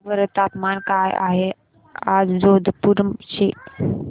सांगा बरं तापमान काय आहे आज जोधपुर चे